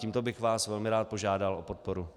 Tímto bych vás velmi rád požádal o podporu.